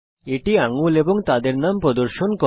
এটি আঙ্গুল এবং তাদের নাম প্রদর্শন করে